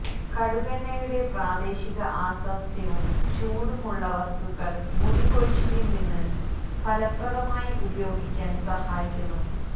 കടുക് എണ്ണയുടെ പ്രാദേശിക അസ്വാസ്ഥ്യവും ചൂടും ഉള്ള വസ്തുക്കൾ മുടി കൊഴിച്ചിൽ നിന്ന് ഫലപ്രദമായി ഉപയോഗിക്കാൻ സഹായിക്കുന്നു